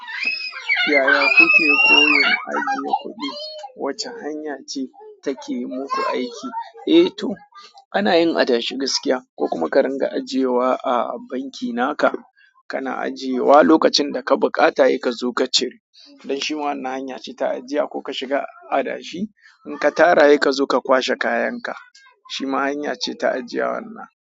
Yaya kuke koyon ajiye kuɗi? Wace hanya ce take muku aiki? Eh to, ana yin adashi gaskiya ko kuma ka ringa ajiyewa a banki naka, kana ajiyewa lokacin da ka buƙata sai ka zo ka cire. Don shi ma wannan hanya ce ta ajiya, ko ka shiga adashi in ka tara sai ka zo ka kwashe kayan ka. Shi ma hanya ce ta ajiyewar nan.